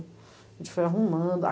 A gente foi arrumando.